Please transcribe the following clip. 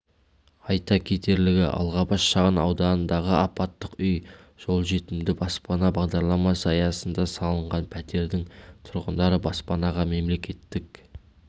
айта кетерлігі алғабас шағын ауданындағы апаттық үй жолжетімді баспана бағдарламасы аясында салынған пәтердің тұрғындары баспанаға мемлекеттік